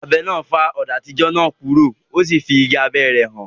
Abẹ náà fá ọ̀dà àtijọ́ náà kúrò, o sì fí igi abẹ́ rẹ̀ hàn.